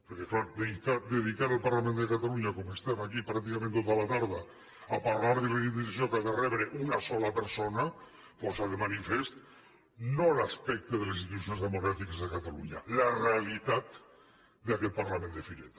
perquè clar dedicar el parlament de catalunya com estem aquí pràcticament tota la tarda a parlar de la indemnització que ha de rebre una sola persona posa de manifest no l’aspecte de les institucions democràtiques de catalunya la realitat d’aquest parlament de fireta